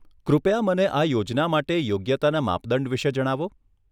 કૃપયા મને આ યોજના માટે યોગ્યતાના માપદંડ વિશે જણાવો.